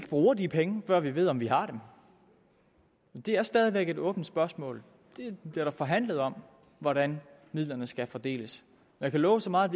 bruger de penge før vi ved om vi har dem det er stadig væk et åbent spørgsmål der bliver forhandlet om hvordan midlerne skal fordeles jeg kan love så meget